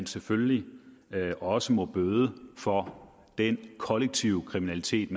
selvfølgelig også må bøde for den kollektive kriminalitet